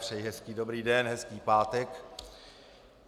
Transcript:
Přeji hezký dobrý den, hezký pátek.